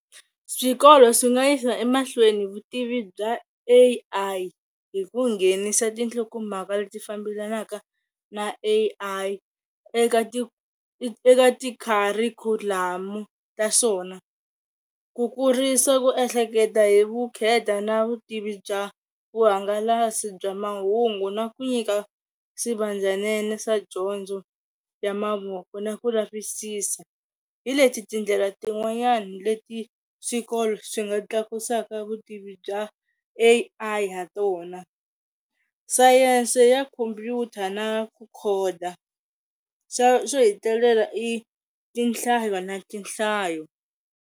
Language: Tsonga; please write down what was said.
Swikolo swi nga yisa emahlweni vutivi bya A_I hi ku nghenisa tinhlokomhaka leti fambelanaka na A_I eka ti eka ti kharikhulamu ta swona. Ku kurisa ku ehleketa hi vukheta na vutivi bya vuhangalasi bya mahungu na ku nyika swivandzanene swa dyondzo ya mavoko na ku lavisisa. Hi leti tindlela tin'wanyani leti swikolo swi nga tlakusaka vutivi bya A_I ha tona, Sayense ya khompyuta na ku khoda, xo hetelela i tinhla na tinhlayo.